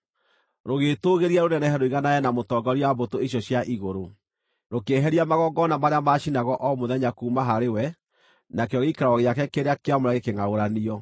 Rũgĩĩtũũgĩria rũnenehe rũiganane na Mũtongoria wa mbũtũ icio cia igũrũ; rũkĩeheria magongona marĩa maacinagwo o mũthenya kuuma harĩ we, nakĩo gĩikaro gĩake kĩrĩa kĩamũre gĩkĩngʼaũranio.